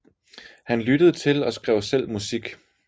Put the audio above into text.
Han lyttede til og skrev selv musik